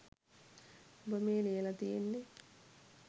උඹ මේ ලියල තියෙන්නෙ